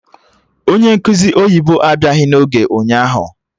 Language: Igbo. Onye nkụzi oyibo abịaghị n'oge ụnyaahụ